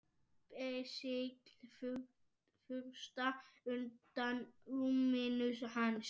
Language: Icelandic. Basil fursta, undan rúminu hans.